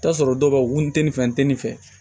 I bi t'a sɔrɔ dɔw b'a fɔ ko n te nin fɛ n te nin fɛ